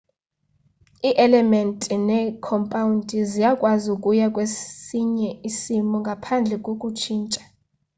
ii-elementi neekhompawundi ziyakwazi ukuya kwesinye isimo ngaphandle kokutshintsha